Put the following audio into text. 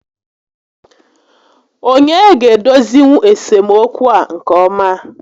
Onye ga-edozinwu esemokwu a nke ọma?